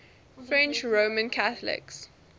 french roman catholics